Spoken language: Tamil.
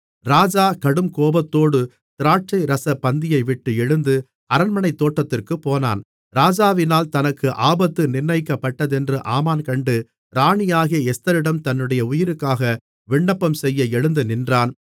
ராஜா கடுங்கோபத்தோடு திராட்சைரசப் பந்தியைவிட்டு எழுந்து அரண்மனைத் தோட்டத்திற்குப் போனான் ராஜாவினால் தனக்கு ஆபத்து நிர்ணயிக்கப்பட்டதென்று ஆமான் கண்டு ராணியாகிய எஸ்தரிடம் தன்னுடைய உயிருக்காக விண்ணப்பம்செய்ய எழுந்து நின்றான்